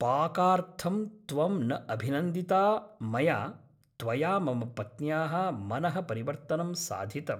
पाकार्थं त्वं न अभिनन्दिता मया त्वया मम पत्न्याः मनःपरिवर्तनं साधितम् ।